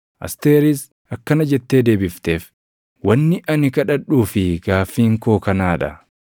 Asteeris akkana jettee deebifteef; “Wanni ani kadhadhuu fi gaaffiin koo kanaa dha: